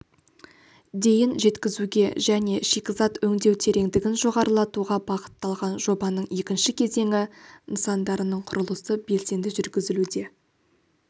дейін жеткізуге және шикізат өңдеу тереңдігін жоғарылатуға бағытталған жобаның екінші кезеңі нысандарының құрылысы белсенді жүргізілуде